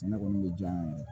Ne kɔni bɛ diyan ye